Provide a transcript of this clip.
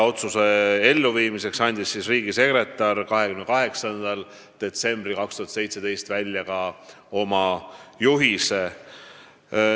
Otsuse elluviimiseks andis riigisekretär 28. detsembril 2017 välja ka asjaomase juhise.